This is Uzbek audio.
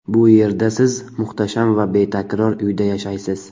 Bu yerda siz muhtasham va betakror uyda yashaysiz.